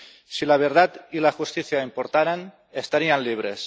Si la verdad y la justicia importaran, estarían libres.